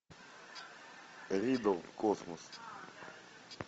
риддл космос